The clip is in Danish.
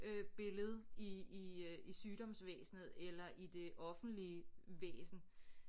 Øh billede i i øh i sygdomsvæsnet eller i det offentlige væsen